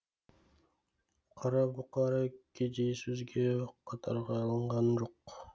қарабұқара кедей сөзге қатарға алынған жоқ